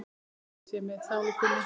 Friður sé með sálu þinni.